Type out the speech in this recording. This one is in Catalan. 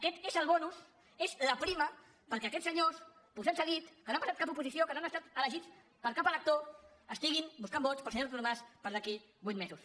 aquest és el bonusperquè aquests senyors posats a dit que no han pas·sat cap oposició que no han estat elegits per cap elec·tor estiguin buscant vots per al senyor artur mas per d’aquí a vuit mesos